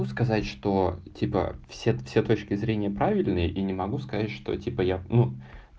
могу сказать что типа все все точки зрения правильные и не могу сказать что типа я ну